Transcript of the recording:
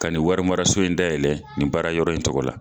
Ka nin wari maraso in dayɛlɛ nin baara yɔrɔ in tɔgɔ la.